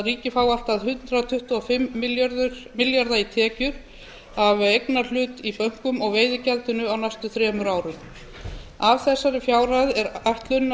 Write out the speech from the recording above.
ríkið fái allt hundrað tuttugu og fimm milljarða í tekjur af eignarhlut í bönkum og veiðigjöldunum á næstu þremur árum af þessari fjárhæð er ætlunin að